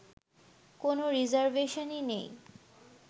কোন রিজার্ভেশনই নেই